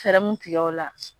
Fɛɛrɛ mun tigɛrola.